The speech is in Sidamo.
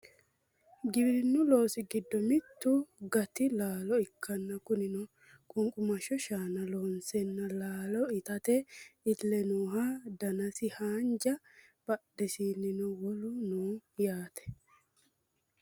giwirinnu loosi giddo mittu gati laalo ikkanna kunino qunqumashsho shaana loonseenna laale itate iille nooha danasino haanja badhesiinnino wolu nooho yaate